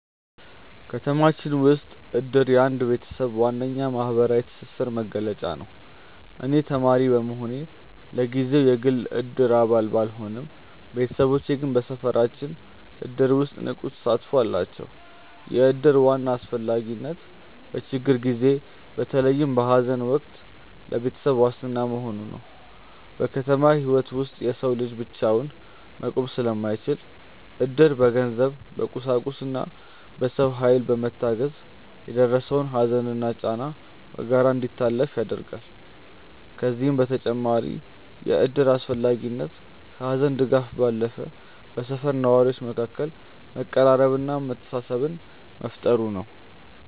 ከተማችን ውስጥ እድር የአንድ ቤተሰብ ዋነኛ የማህበራዊ ትስስር መገለጫ ነው። እኔ ተማሪ በመሆኔ ለጊዜው የግል የእድር አባል ባልሆንም፣ ቤተሰቦቼ ግን በሰፈራችን እድር ውስጥ ንቁ ተሳትፎ አላቸው። የእድር ዋና አስፈላጊነት በችግር ጊዜ፣ በተለይም በሐዘን ወቅት ለቤተሰብ ዋስትና መሆኑ ነው። በከተማ ህይወት ውስጥ የሰው ልጅ ብቻውን መቆም ስለማይችል፣ እድር በገንዘብ፣ በቁሳቁስና በሰው ኃይል በመታገዝ የደረሰውን ሐዘንና ጫና በጋራ እንዲታለፍ ያደርጋል። ከዚህም በተጨማሪ የእድር አስፈላጊነት ከሐዘን ድጋፍ ባለፈ በሰፈር ነዋሪዎች መካከል መቀራረብንና መተሳሰብን መፍጠሩ ነው።